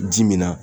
Ji min na